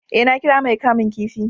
eh, na kira mai kamun kifi